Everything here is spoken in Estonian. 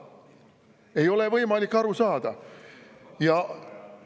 Ei ole võimalik aru saada!